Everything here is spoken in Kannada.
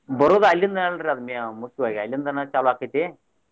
ಬರೋದ ಅಲ್ಲಿಂದನ ಅಲ್ರಿ ಅದ ಮುಖ್ಯವಾಗಿ ಅಲ್ಲಿಂದನ ಚಾಲೂ ಆಕ್ಕೆತಿ.